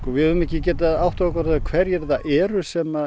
við höfum ekki getað áttað okkur á því hverjir það eru sem